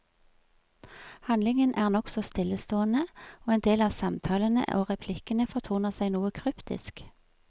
Handlingen er nokså stillestående, og endel av samtalene og replikkene fortoner seg noe kryptisk.